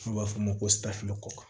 N'u b'a f'o ma ko safinɛ kɔkɔ